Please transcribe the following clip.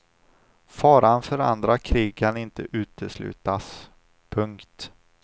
Faran för andra krig kan inte uteslutas. punkt